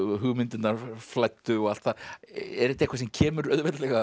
hugmyndirnar flæddu og allt það er þetta eitthvað sem kemur auðveldlega